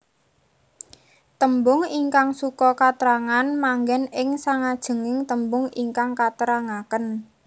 Tembung ingkang suka katrangan manggen ing sangajenging tembung ingkang katerangaken